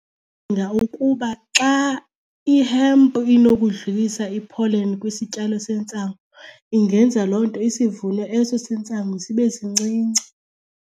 Ndicinga ukuba xa i-hempu inokudlulisa i-pollen kwisityalo sentsangu ingenza loo nto isivuno eso sentsangu sibe sincinci.